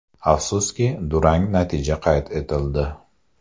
Afsuski, durang natija qayd etildi.